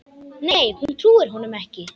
Nei hún trúir honum ekki.